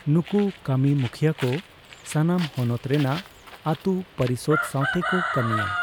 ᱱᱩᱠᱩ ᱠᱟᱹᱢᱤ ᱢᱩᱠᱷᱤᱭᱟᱹ ᱠᱚ ᱥᱟᱱᱟᱢ ᱦᱚᱱᱚᱛ ᱨᱮᱱᱟᱜ ᱟᱛᱩ ᱯᱚᱨᱤᱥᱚᱫᱽ ᱥᱟᱣᱛᱮ ᱠᱚ ᱠᱟᱹᱢᱤᱭᱟ ᱾